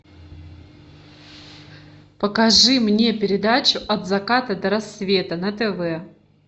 покажи мне передачу от заката до рассвета на тв